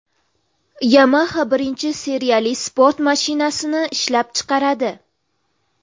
Yamaha birinchi seriyali sport mashinasini ishlab chiqaradi.